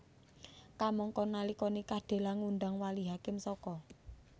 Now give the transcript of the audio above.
Kamangka nalika nikah Della ngundang wali hakim saka